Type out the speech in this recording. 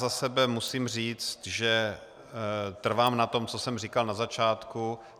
Za sebe musím říct, že trvám na tom, co jsem říkal na začátku.